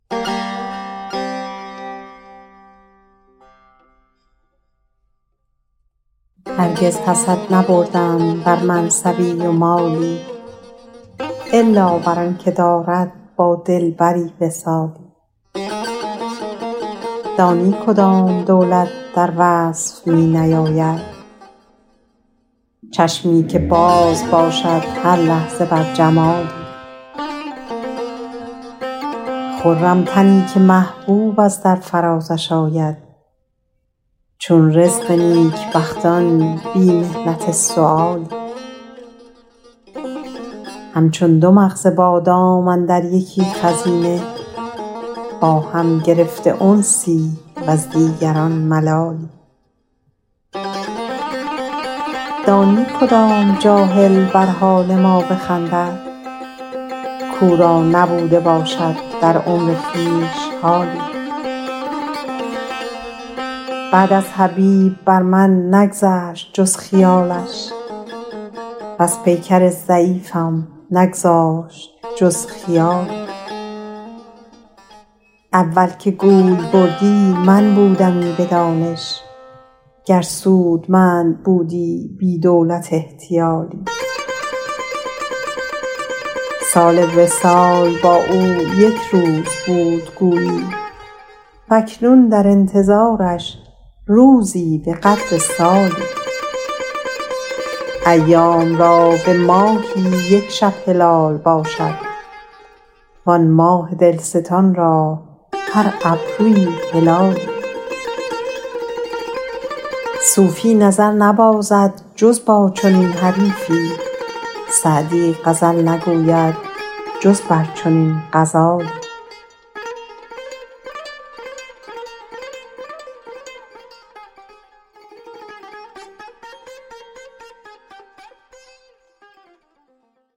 هرگز حسد نبردم بر منصبی و مالی الا بر آن که دارد با دلبری وصالی دانی کدام دولت در وصف می نیاید چشمی که باز باشد هر لحظه بر جمالی خرم تنی که محبوب از در فرازش آید چون رزق نیکبختان بی محنت سؤالی همچون دو مغز بادام اندر یکی خزینه با هم گرفته انسی وز دیگران ملالی دانی کدام جاهل بر حال ما بخندد کاو را نبوده باشد در عمر خویش حالی بعد از حبیب بر من نگذشت جز خیالش وز پیکر ضعیفم نگذاشت جز خیالی اول که گوی بردی من بودمی به دانش گر سودمند بودی بی دولت احتیالی سال وصال با او یک روز بود گویی و اکنون در انتظارش روزی به قدر سالی ایام را به ماهی یک شب هلال باشد وآن ماه دلستان را هر ابرویی هلالی صوفی نظر نبازد جز با چنین حریفی سعدی غزل نگوید جز بر چنین غزالی